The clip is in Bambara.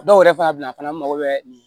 Dɔw yɛrɛ fana bila fana mago bɛ nin